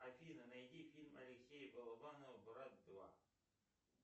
афина найди фильм алексея балабанова брат два